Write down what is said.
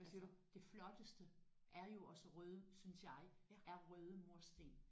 Altså det flotteste er jo også røde synes jeg er røde mursten